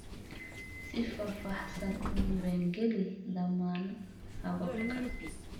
Si faahfaahsan u diiwaangeli dhammaan hababka.